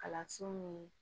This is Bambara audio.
Kalanso min